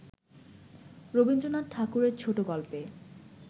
রবীন্দ্রনাথ ঠাকুরের ছোটগল্পে